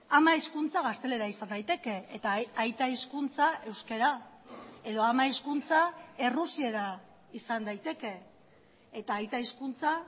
ama hizkuntza gaztelera izan daiteke eta aita hizkuntza euskara edo ama hizkuntza errusiera izan daiteke eta aita hizkuntza